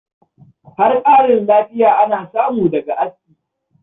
Har ƙarin lafiya ana samu daga aski.